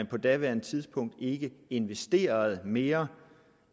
på daværende tidspunkt investerede mere